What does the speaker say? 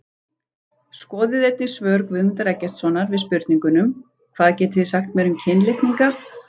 Skoðið einnig svör Guðmundar Eggertssonar við spurningunum: Hvað getið þið sagt mér um kynlitninga?